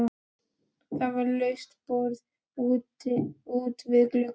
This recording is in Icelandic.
Það var laust borð út við glugga.